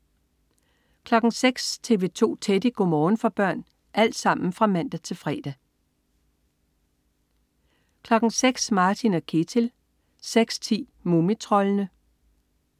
06.00 TV 2 Teddy. Go' morgen for børn (man-fre) 06.00 Martin og Ketil (man-fre) 06.10 Mumitroldene (man-fre)